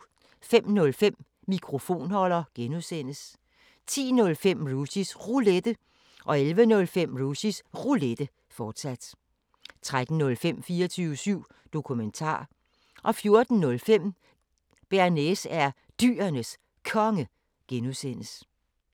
05:05: Mikrofonholder (G) 10:05: Rushys Roulette 11:05: Rushys Roulette, fortsat 13:05: 24syv Dokumentar 14:05: Bearnaise er Dyrenes Konge (G)